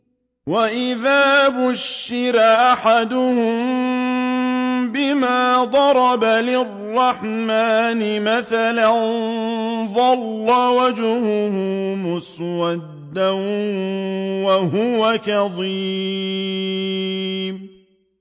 وَإِذَا بُشِّرَ أَحَدُهُم بِمَا ضَرَبَ لِلرَّحْمَٰنِ مَثَلًا ظَلَّ وَجْهُهُ مُسْوَدًّا وَهُوَ كَظِيمٌ